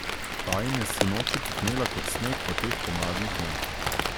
Ta jim je sinoči kopnela kot sneg v teh pomladnih dneh.